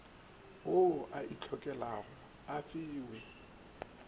ao a itlhokelago a fiwe